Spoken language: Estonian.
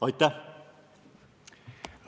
Aitäh!